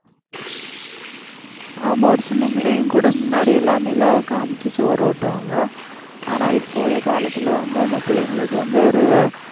ஆமா ஒரு சின்ன புள்ளைங்க கூட முன்னாடி எல்லாம் நிலாவை காமிச்சு சோறு ஊட்டுவாங்க, ஆனா இப்ப உள்ள காலத்துல வந்து அந்த பிள்ளைங்களுக்கு வந்து ஒரு